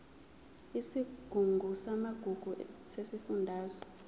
isigungu samagugu sesifundazwe